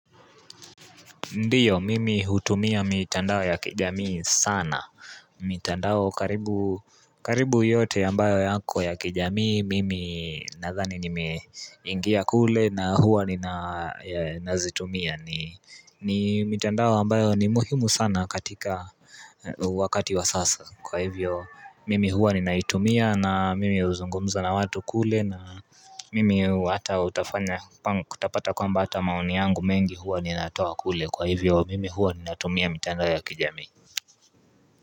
Ndiyo mimi hutumia mitandao ya kijamii sana mitandao karibu yote ambayo yako ya kijamii Mimi nadhani nimeingia kule na huwa nina zitumia ni mitandao ambayo ni muhimu sana katika wakati wa sasa Kwa hivyo mimi huwa ninaitumia na mimi huzungumza na watu kule na mimi hata utafanya kutapata kwamba hata maoni yangu mengi huwa ninatoa kule kwa hivyo mimi huwa ninatumia mitandao ya kijami.